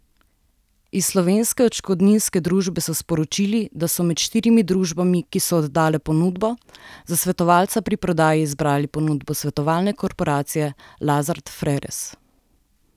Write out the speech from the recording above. Iz Slovenske odškodninske družbe so sporočili, da so med štirimi družbami, ki so oddale ponudbo, za svetovalca pri prodaji izbrali ponudbo svetovalne korporacije Lazard Freres.